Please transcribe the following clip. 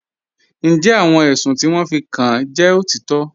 Ǹjẹ́ àwọn èṣùn ti wọn fí kàn jẹ́ otitọ́?